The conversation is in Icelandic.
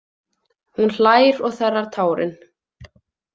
Hún hlær og þerrar tárin.